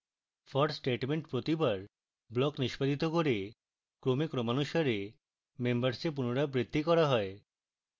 for statement প্রতিবার block নিষ্পাদিত করে ক্রমে ক্রমানুসারে members a পুনরাবৃত্তি করা হয়